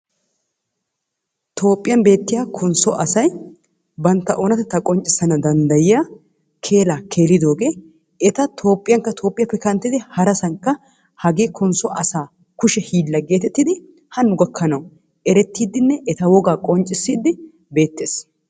Toophphiyan beettiya konsso asay bantta oonatettaa qonccissana danddayiya keelaa keelidoogee eta toophphiyankka toophphiyappe kanttidi harasankka hagee konsso asaa kushe hiilla geetettidi Hanno gakkanawu erettidinne eta wogaa qonccissiiddi beettees.